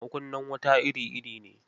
Makunnan wuta iri-iri ne.